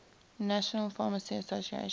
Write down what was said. national pharmacy association